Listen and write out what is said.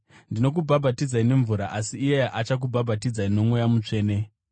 Ndinokubhabhatidzai nemvura, asi iye achakubhabhatidzai noMweya Mutsvene.”